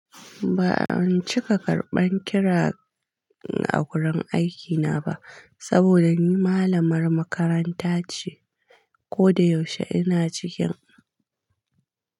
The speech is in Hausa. Ba'a cika karban kira a gurin aikina ba saboda ni malamar makaranta ce. Ko da yaushe ina cikin.